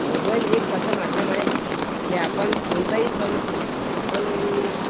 mobile एक असं माध्यम आहे, की आपण कोणताही सण असो आपण